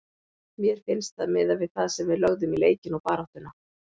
Mér finnst það miðað við það sem við lögðum í leikinn og baráttuna.